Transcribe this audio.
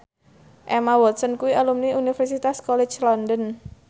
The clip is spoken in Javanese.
Emma Watson kuwi alumni Universitas College London